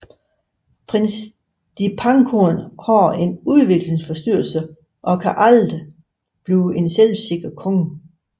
Prins Dipangkorn har en udviklingsforstyrrelse og kan aldrig blive en selvsikker konge